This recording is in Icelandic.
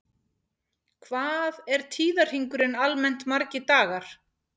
Hvað er tíðarhringurinn almennt margir dagar?